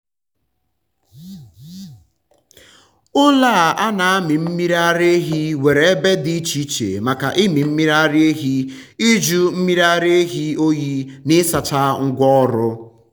ụlọ a a na-amị mmiri ara ehi nwere ebe dị iche iche maka ịmị mmiri ara ehi ịjụ mmiri ara ehi oyi na ịsacha ngwa ọrụ.